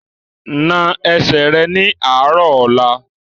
Na ẹsẹ̀ rẹ ní àárọ̀ ọ̀la!